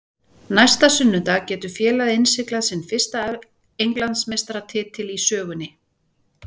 Næsta sunnudag getur félagið innsiglað sinn fyrsta Englandsmeistaratitil í sögunni.